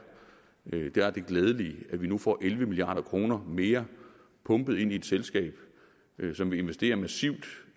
det glædelige at vi nu får elleve milliard kroner mere pumpet ind i et selskab som vil investere massivt